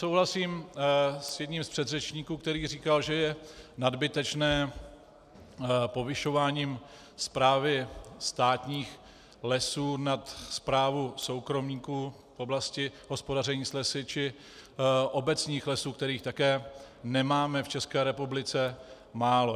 Souhlasím s jedním z předřečníků, který říkal, že je nadbytečné povyšování správy státních lesů nad správu soukromníků v oblasti hospodaření s lesy či obecních lesů, kterých také nemáme v České republice málo.